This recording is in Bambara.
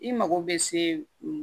I mago bɛ se